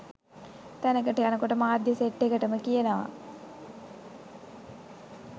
තැනකට යනකොට මාධ්‍ය සෙට් එකටම කියනවා.